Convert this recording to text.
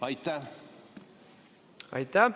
Aitäh!